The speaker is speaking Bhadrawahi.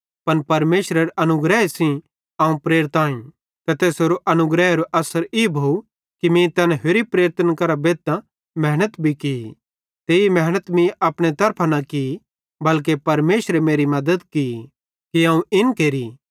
पन परमेशरेरे अनुग्रहे सेइं अवं प्रेरित आईं ते तैसेरो अनुग्रहेरो अस्सर ई भोव कि मीं तैन होरि प्रेरितन करां बेद्धतां मेहनत भी की ते ई मेहनत मीं अपने तरफां न की बल्के परमेशरे मेरी मद्दत की कि अवं इन केरि